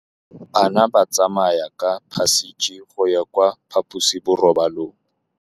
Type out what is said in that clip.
Bana ba tsamaya ka phašitshe go ya kwa phaposiborobalong.